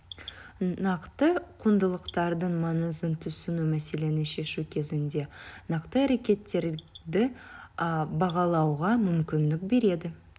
нақты құндылықтардың маңызын түсіну мәселені шешу кезінде нақты әрекеттерді бағалауға мүмкіндік береді